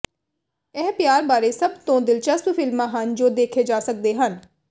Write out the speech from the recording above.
ਇਹ ਪਿਆਰ ਬਾਰੇ ਸਭ ਤੋਂ ਦਿਲਚਸਪ ਫਿਲਮਾਂ ਹਨ ਜੋ ਦੇਖੇ ਜਾ ਸਕਦੇ ਹਨ